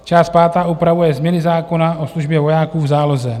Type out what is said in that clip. Část pátá upravuje změny zákona o službě vojáků v záloze.